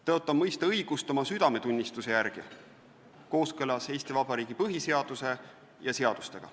Tõotan mõista õigust oma südametunnistuse järgi kooskõlas Eesti Vabariigi põhiseaduse ja seadustega.